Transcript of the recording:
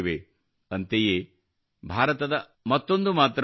ಅಂತೆಯೇ ಭಾರತದ ಮತ್ತೊಂದು ಮಾತೃಭಾಷೆಯಿದೆ